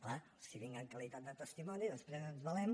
clar si vinc en qualitat de testimoni després ens valem